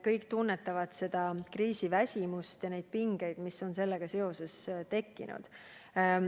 Kõik tunnetavad kriisiväsimust ja pingeid, mis on sellega seoses tekkinud.